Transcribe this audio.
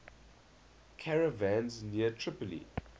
caravans near tripoli